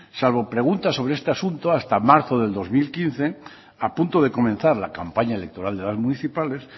salvo preguntas sobre este asunto hasta marzo del dos mil quince a punto de comenzar la campaña electoral de las municipales